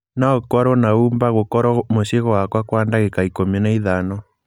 no ũkorũo na uber gũkorũo muciĩ gwakwa Kwa dagiĩka ikũmi na ithano